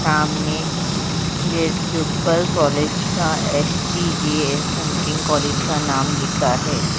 सामने गेट के ऊपर कॉलेज का एस.टी.जे. एस समथिंग कॉलेज का नाम लिखा है।